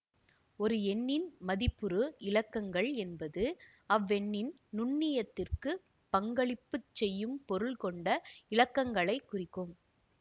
ஒரு எண்ணின் மதிப்புறு இலக்கங்கள் என்பது அவ்வெண்ணின் நுண்ணியத்திக்குப் பங்களிப்பு செய்யும் பொருள் கொண்ட இலக்கங்களைக் குறிக்கும்